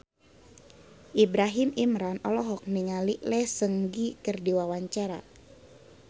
Ibrahim Imran olohok ningali Lee Seung Gi keur diwawancara